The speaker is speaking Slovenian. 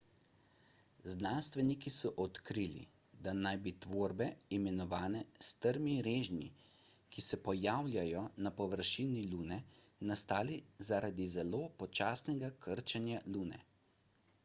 znanstveniki so odkrili da naj bi tvorbe imenovane strmi režnji ki se pojavljajo na površini lune nastale zaradi zelo počasnega krčenja lune